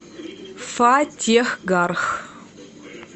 фатехгарх